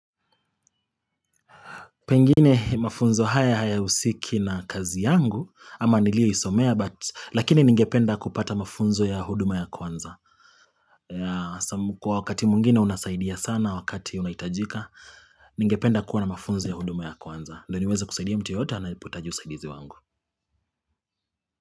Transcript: Pengine mafunzo haya hayahusiki na kazi yangu, ama nilioisomea, lakini ningependa kupata mafunzo ya huduma ya kwanza. Kwa wakati mwingine unasaidia sana, wakati unahitajika, ningependa kuwa na mafunzo ya huduma ya kwanza. Ndio niweze kusaidia mtu yoyote anapohitaji usaidizi wangu.